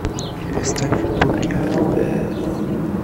поставь букет